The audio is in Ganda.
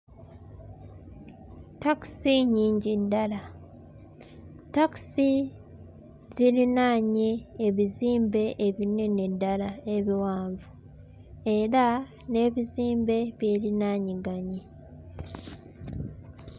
Takisi nnyingi ddala. Takisi zirinaanye ebizimbe ebinene ddala ebiwanvu era n'ebizimbe byerinaanyiganye.